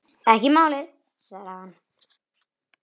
Ekki málið, svaraði hann.